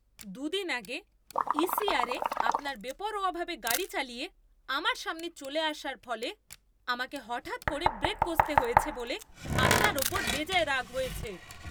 দু দিন আগে ইসিআরে আপনার বেপরোয়াভাবে গাড়ি চালিয়ে, আমার সামনে চলে আসার ফলে, আমাকে হঠাৎ করে ব্রেক কষতে হয়েছে বলে আপনার উপর বেজায় রাগ হয়েছে!